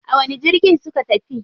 A wani jirgin suka tafi?